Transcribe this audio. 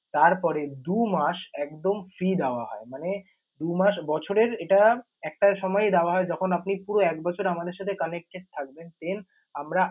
তারপরে দু মাস একদম free দেওয়া হয়। মানে দু মাস বছরের এটা একটা সময়েই দেওয়া হয়, যখন আপনি পুরো এক বছর আমাদের সাথে connected থাকবেন। Then আমরা